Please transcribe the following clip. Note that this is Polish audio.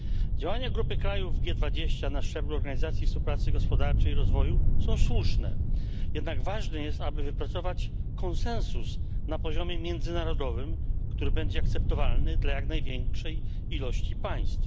Działania grupy krajów G20 na szczeblu organizacji Współpracy Gospodarczej i Rozwoju są słuszne, jednak ważne jest, aby wypracować konsensus na poziomie międzynarodowym, który będzie akceptowalny dla jak największej liczby państw.